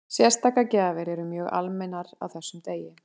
Sérstakar gjafir eru mjög almennar á þessum degi.